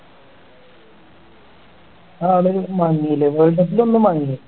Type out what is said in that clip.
ആഹ് അവിടെ ഒന്ന് മങ്ങില്ലേ world cup ലൊന്ന് മങ്ങി